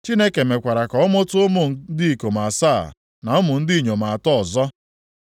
Chineke mekwara ka ọ mụta ụmụ ndị ikom asaa, na ụmụ ndị inyom atọ ọzọ.